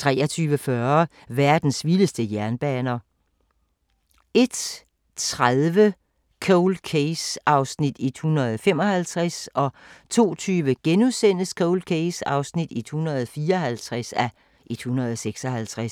23:40: Verdens vildeste jernbaner 01:30: Cold Case (155:156) 02:20: Cold Case (154:156)*